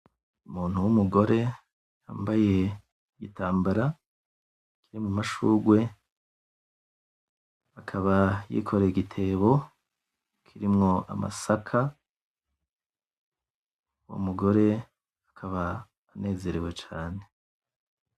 Umuntu w'umugore yambaye igitambara kirimwo amashurwe. Akaba yikoreye igitebo kirimwo amasaka. Uwo mugore akaba anezerewe cane.